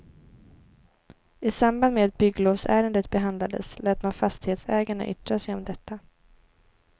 I samband med att bygglovsärendet behandlades lät man fastighetsägarna yttra sig om detta.